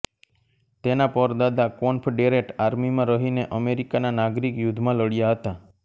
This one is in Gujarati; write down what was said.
તેના પરદાદા કોન્ફડેરેટ આર્મીમાં રહીને અમેરિકાના નાગરિક યુદ્ધમાં લડ્યાં હતા